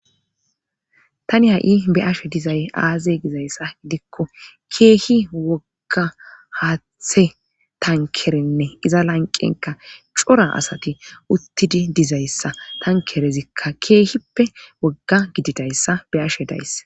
Tani ha'i be'ashe dizay aaze gizayssa gidikko keehi wogga haaththe tankerenne iza lanqenka cora asati uttidii dizayssa tankerezikka keehippe wogga gididayssa be'ashe days